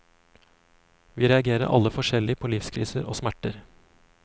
Vi reagerer alle forskjellig på livskriser og smerter.